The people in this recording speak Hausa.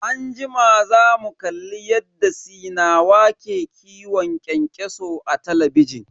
Anjima zamu kalli yadda sinawa ke kiwon kyankyaso a talabijin.